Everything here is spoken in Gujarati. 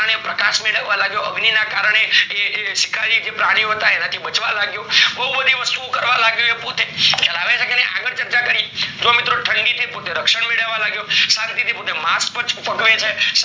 પ્રકાશ મેળવવા લાગ્યો અગ્નિ ના કરને એ એ શિકારી પ્રાણી હતા એનાથી બચવા લાગ્યો બૌ બધી વસ્તુ ઓ કરવ લાગ્યો એ પોતે ખ્યાલ આવે છે નાય આગળ ચર્ચા કરીએ ઠંડી થી પોતે રક્ષણ મેળળવા લાગ્યો શાંતિ થી પોતે માસ છે